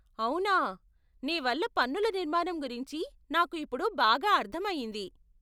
అవునా, నీ వల్ల పన్నుల నిర్మాణం గురించి నాకు ఇప్పుడు బాగా అర్ధం అయింది.